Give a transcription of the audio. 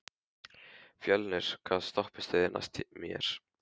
Fjölnir, hvaða stoppistöð er næst mér?